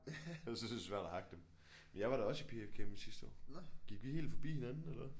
Ellers så er det svært at hakke dem men jeg var da også i P F campen sidste år gik vi helt forbi hinanden eller hvad